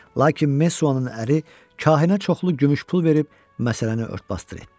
Lakin Messuanın əri kahinə çoxlu gümüş pul verib məsələni ört-basdır etdi.